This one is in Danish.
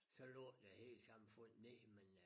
Så lukkede det hele samfundet ned men øh